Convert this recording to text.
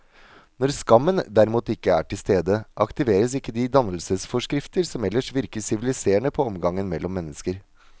Når skammen derimot ikke er til stede, aktiveres ikke de dannelsesforskrifter som ellers virker siviliserende på omgangen mellom mennesker.